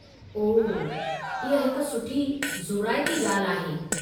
ओह, इहा हिकु सुठी ज़ोराइती ॻाल्हि आहे।